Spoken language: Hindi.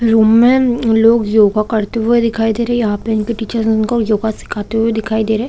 रूम में लोग योगा करते हुए दिखाई दे रहै हैं। यहाँ इनके टीचर्स उनको योगा सीखाते हुए दिखाई दे रहै हैं।